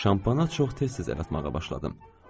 Şampana çox tez-tez istidəf etməyə başladım.